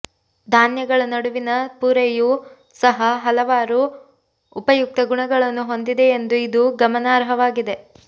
ಧಾನ್ಯಗಳ ನಡುವಿನ ಪೊರೆಯೂ ಸಹ ಹಲವಾರು ಉಪಯುಕ್ತ ಗುಣಗಳನ್ನು ಹೊಂದಿದೆಯೆಂದು ಇದು ಗಮನಾರ್ಹವಾಗಿದೆ